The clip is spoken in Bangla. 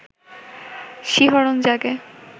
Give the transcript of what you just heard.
শিহরণ জাগে